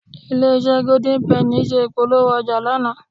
Ilé-iṣẹ́ Golden penny ṣe ìpolówó ọjà lánàá